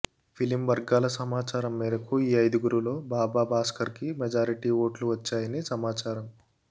film వర్గాల సమాచారం మేరకు ఈ ఐధుగురులో బాబా భాస్కర్ కి మెజారిటీ ఓట్లు వచ్చాయని సమాచారం